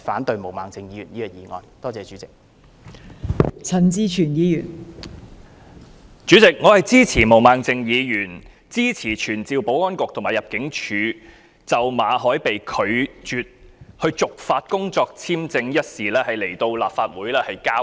代理主席，我支持毛孟靜議員的議案，支持傳召保安局局長及入境事務處處長就馬凱被拒絕續發工作簽證一事來立法會交代。